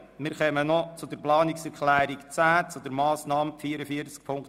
Wir kommen schliesslich zur Planungserklärung 10 SPJUSO-PSA/Marti zur Massnahme 44.7.8.